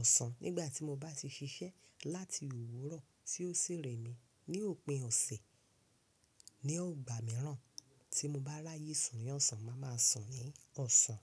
ọ̀sán. Nígbà tí mo bá ti ṣiṣẹ́ láti òwúrọ̀ tí ó sì rẹ̀ mí ní òpin ọ̀sẹ̀, ní ọgbà mìíràn tí mo bá ráyè sùn ní ọ̀sán, màá máa sùn ní ọ̀sán.